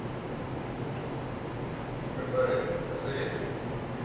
кабаре посоветуй мне